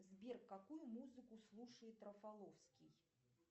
сбер какую музыку слушает рафаловский